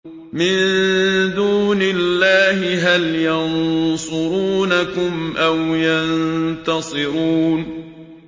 مِن دُونِ اللَّهِ هَلْ يَنصُرُونَكُمْ أَوْ يَنتَصِرُونَ